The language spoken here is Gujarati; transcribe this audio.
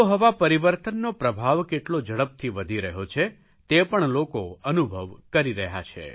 આબોહવા પરિવર્તનનો પ્રભાવ કેટલો ઝડપથી વધી રહ્યો છે તે પણ લોકો અનુભવ કરી રહ્યા છે